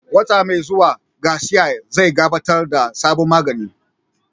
Wata mai zuwa, Dr. Garcia zai gabatar da sabon magani